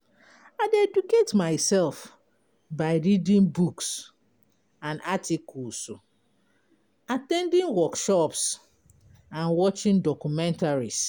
I dey educate myself by reading books and articles, at ten ding workshops, and watching documentaries.